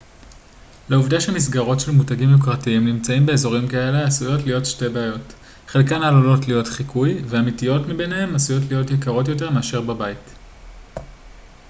לעובדה שמסגרות של מותגים יוקרתיים נמצאים באזורים כאלה עשויות להיות שתי בעיות חלקן עלולות להיות חיקוי והאמיתיות מביניהן עשויות להיות יקרות יותר מאשר בבית